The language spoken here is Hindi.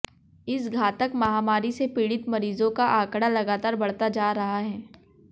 इस घातक महामारी से पीड़ित मरीजों का आंकड़ा लगातार बढ़ता जा रहा है